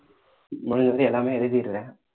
முதல்ல இருந்து எல்லாமே எழுதிடுறேன்